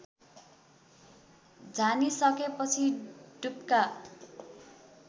झानिसकेपछि डुप्का